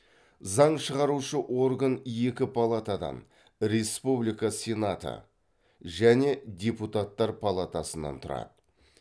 заң шығарушы орган екі палатадан республика сенаты және депутаттар палатасынан тұрады